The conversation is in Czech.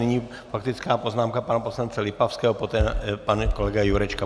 Nyní faktická poznámka pana poslance Lipavského, poté pan kolega Jurečka.